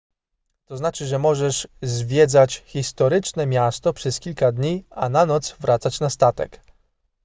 to znaczy że możesz zwiedzać historyczne miasto przez kilka dni a na noc wracać na statek